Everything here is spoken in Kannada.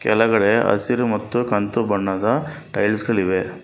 ಕೆಳಗಡೆ ಹಸಿರು ಮತ್ತು ಕಂದು ಬಣ್ಣದ ಟೈಲ್ಸ್ ಗಳಿವೆ.